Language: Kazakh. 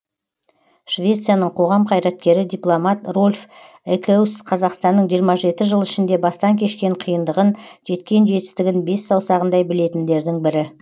швецияның қоғам қайраткері дипломат рольф экеус қазақстанның жиырма жеті жыл ішінде бастан кешкен қиындығын жеткен жетістігін бес саусағындай білетіндердің бірі